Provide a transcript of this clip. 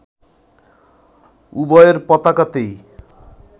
উভয়ের পতাকাতেই